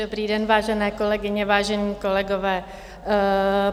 Dobrý den, vážené kolegyně, vážení kolegové.